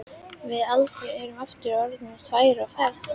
Við Alda erum aftur orðnar tvær á ferð.